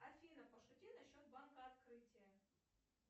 афина пошути насчет банка открытия